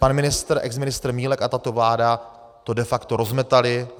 Pan ministr, exministr Milek a tato vláda to de facto rozmetali.